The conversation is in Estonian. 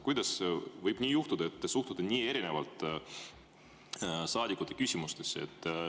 Kuidas võib nii olla, et suhtute nii erinevalt saadikute küsimustesse?